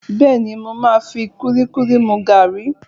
Bẹ́ẹ̀ni, mo máa fi kúlíkúlí mú gààrí